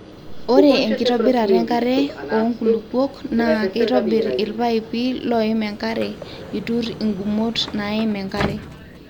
ore enkitobirata enkare woo nkulupuok naa keitobir ilpaipi looim enkare itur inkumot naim enkare